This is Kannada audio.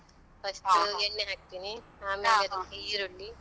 first ಎಣ್ಣೆ ಹಾಕ್ತಿನಿ, ಅದಕ್ಕೆ ಈರುಳ್ಳಿ.